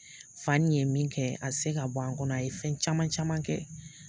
Fa nin ye min kɛ a tɛ se ka bɔ an kɔnɔ, a ye fɛn caman caman kɛ.